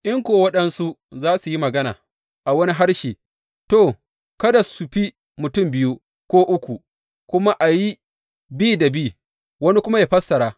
In kuwa waɗansu za su yi magana a wani harshe, to, kada su fi mutum biyu ko uku, kuma a yi bi da bi, wani kuma yă fassara.